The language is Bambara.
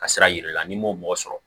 Ka sira yira i la n'i m'o mɔgɔ sɔrɔ